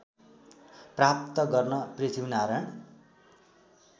प्राप्त गर्न पृथ्वीनारायण